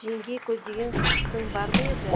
жеңгей көздеген кісің бар ма еді